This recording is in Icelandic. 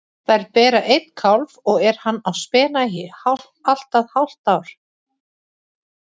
Þær bera einn kálf og er hann á spena í allt að hálft ár.